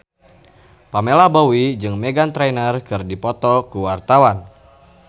Pamela Bowie jeung Meghan Trainor keur dipoto ku wartawan